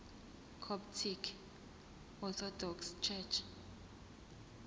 coptic orthodox church